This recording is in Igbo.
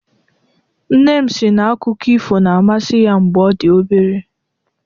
Nne m si na akụkọ ifo na-amasị ya mgbe ọ dị obere.